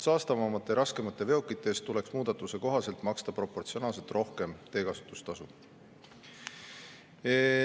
Saastavamate ja raskemate veokite eest tuleks muudatuse kohaselt maksta proportsionaalselt rohkem teekasutustasu.